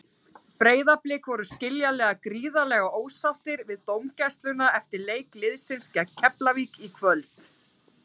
Breiðablik voru skiljanlega gríðarlega ósáttir við dómgæsluna eftir leik liðsins gegn Keflavík í kvöld.